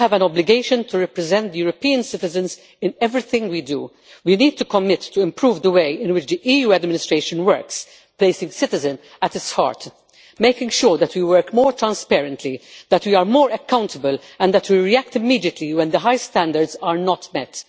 We all have an obligation to represent European citizens in everything we do. We need to commit to improving the way in which the EU administration works, placing citizens at its heart, making sure that we work more transparently, that we are more accountable and that we react immediately when the highest standards are not met.